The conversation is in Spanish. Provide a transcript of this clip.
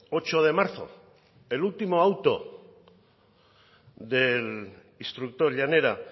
ocho de marzo el último auto del instructor llanera